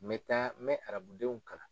N be taa , n be arabudenw kalan.